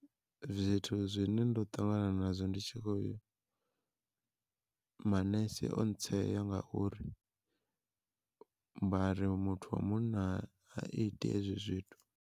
Zwithu zwine ndo ṱangana nazwo ndi tshi khoya, manese o tsea ngauri vhari muthu wa munna ha iti hezwi zwithu.